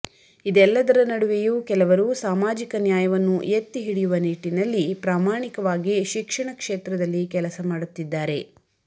ಇದೆಲ್ಲದರ ನಡುವೆಯೂ ಕೆಲವರು ಸಾಮಾಜಿಕ ನ್ಯಾಯವನ್ನು ಎತ್ತಿ ಹಿಡಿಯುವ ನಿಟ್ಟಿನಲ್ಲಿ ಪ್ರಾಮಾಣಿಕವಾಗಿ ಶಿಕ್ಷಣ ಕ್ಷೇತ್ರದಲ್ಲಿ ಕೆಲಸ ಮಾಡುತ್ತಿದ್ದಾರೆ